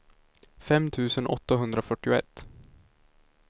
fem tusen åttahundrafyrtioett